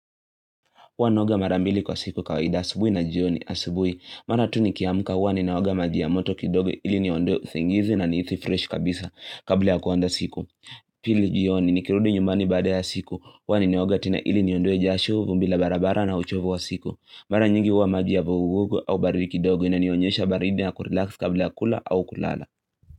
Huwa naoga mara mbili kwa siku kawaida asubuhi na jioni asubuhi maana tu nikiamka huwa ninaoga maji ya moto kidogo ili niondoe usingizi na niithi fresh kabisa kabla ya kuanda siku. Pili jioni nikirudi nyumbani baada ya siku huwa ninaoga tena ili niondoe jasho vumbi la barabara na uchovu wa siku. Mara nyingi huwa maji ya vugugugu au baridi kidogo inanionyesha baridi na kurelax kabla ya kula au kulala.